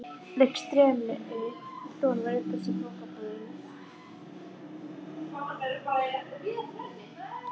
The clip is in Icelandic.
Lygn streymir Don var uppseld í bókabúðum.